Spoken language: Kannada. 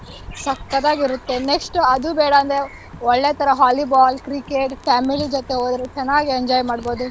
ಸಕ್ಕತ್ ಆಗಿರತ್ತೆ. next ಅದು ಬೇಡಾಂದ್ರೆ ಒಳ್ಳೆ ತರ Volleyball, Cricket, family ಜೊತೆ ಹೋದ್ರು ಚೆನ್ನಾಗಿ enjoy ಮಾಡ್ಬೋದು.